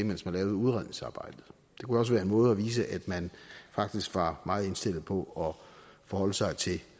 mens man lavede udredningsarbejdet det kunne også være en måde at vise at man faktisk var meget indstillet på at forholde sig til